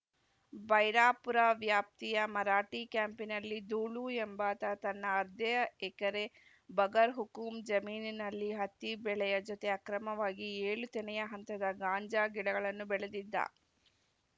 ಬೈರಾಪುರ ವ್ಯಾಪ್ತಿಯ ಮರಾಠಿ ಕ್ಯಾಂಪಿನಲ್ಲಿ ದೂಳು ಎಂಬಾತ ತನ್ನ ಅರ್ದ್ಯ ಎಕರೆ ಬಗರ್‌ಹುಕುಂ ಜಮೀನಿನಲ್ಲಿ ಹತ್ತಿ ಬೆಳೆಯ ಜೊತೆ ಅಕ್ರಮವಾಗಿ ಏಳು ತೆನೆಯ ಹಂತದ ಗಾಂಜಾ ಗಿಡಗಳನ್ನು ಬೆಳೆದಿದ್ದ